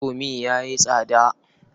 Indomi ya yi tsada.